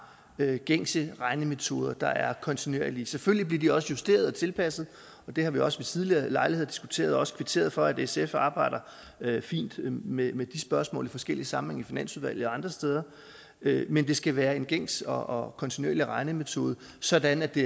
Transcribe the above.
have gængse regnemetoder der er kontinuerlige selvfølgelig bliver de også justeret og tilpasset det har vi også ved tidligere lejligheder diskuteret og også kvitteret for at sf arbejder fint med med de spørgsmål i forskellige sammenhænge i finansudvalget og andre steder men det skal være en gængs og kontinuerlig regnemetode sådan at det